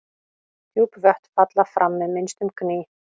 Djúp vötn falla fram með minnstum gný.